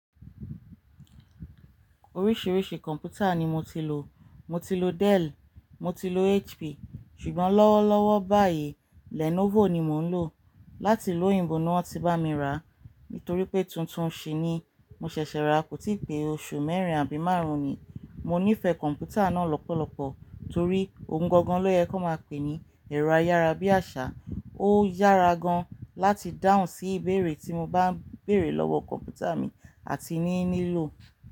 Oríṣìíríṣìí kọ̀m̀pútà ni mo ti lò. Mo ti lò Dell, mo ti lò HP, ṣùgbọ́n lọ́wọ́ lọ́wọ́ báyìí Lenovo ni mò ń lò láti ilu oyinbo ni wọ́n ti bá mi rà. Nítorí pé tuntun ṣí ni mo ṣẹ̀ṣẹ̀ rà, kò tí pè oṣù mẹ́rin àbí márùn-ún ni. Mo nífẹ̀ẹ́ kọ̀m̀pútà náà lọ́pọ̀lọpọ̀ torí ohun gangan ló yẹ kó máa pè é ní ẹ̀rọ ayárabíàṣá. Ó yára gan láti dáhùn sí ìbéèrè tí mo bá ń béèrè lọ́wọ́ kọ̀m̀pútà mi àti ní lílò.